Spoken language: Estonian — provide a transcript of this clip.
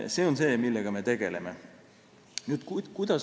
See on see, millega me tegeleme.